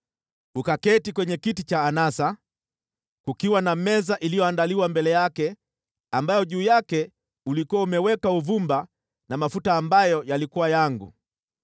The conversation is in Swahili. Ukaketi kwenye kiti cha anasa, kukiwa na meza iliyoandaliwa mbele yake ambayo juu yake ulikuwa umeweka uvumba na mafuta ambayo yalikuwa yangu.